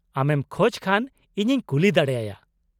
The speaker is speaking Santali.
ᱟᱢᱮᱢ ᱠᱷᱚᱡ ᱠᱷᱟᱱ ᱤᱧᱤᱧ ᱠᱩᱞᱤ ᱫᱟᱲᱮᱭᱟᱭᱟ ᱾